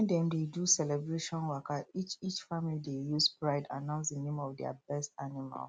when dem dey do celebration waka each each family dey use pride announce the name of their best animal